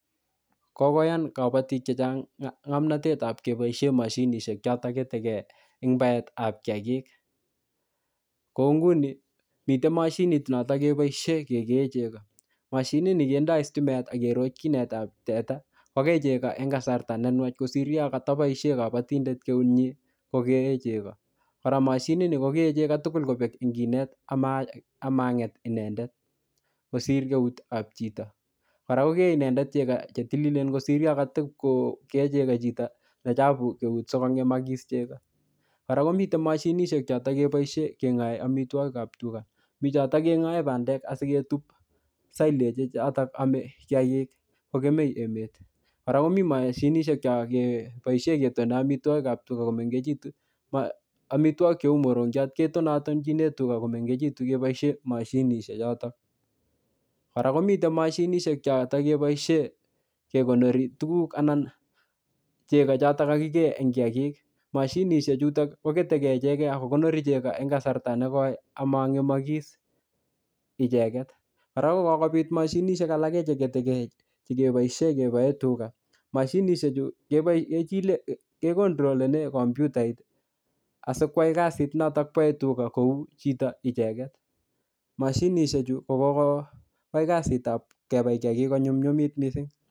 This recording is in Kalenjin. Kokoyan kabatik chechang ngomnotetap keboisie mashinishek chotok keteke eng baetap kiyagik. Kou nguni, mitei mashinit notok keboisie kekee chego. Mashinit nii kendoi stimet akerot kinetap teta, kokee chego en kasarta ne nwach kosir yakataboisie kabatindet keut nyii kokee chego. Kora mashinit kokee chego tugul kobek ing konet ama-amanget inendet, kosir keutap chito. Kora kokee inendet chego che tililen kosir yokotikokee chego chito ne chapu keut sikongemakis chego. Kora komite mashinishek chotok keboisie keng'ae amitwogikap tuga. Bichotok keng'ae bandek asiketup silage chotok ame kiyagik kokemei emet. Kora komii mashinishek chokeboisie ketone amitwogikap tuga komengechitu. Amitwogik cheu morongiot ketonatonchine tuga komengechitu keboisie mashinishek chotok. Kora komite mashinishek chotok keboisie kekonori tuguk anan chego chotok kakikee en kiyagik. Mashinishek chutok koketeke icheke akokonori chego eng kasarta ne koi amang'emakis icheket. Kora ko kokobit mashinishek alake che keteke chekeboisie kebae tuga. Mashinishek chu kekontrolene kompyutaiat asikwai kasit notok bae tuga kou chito icheket. Mashinishek chu, ko koai kasitap kebai kiyagik konyunyumit missing.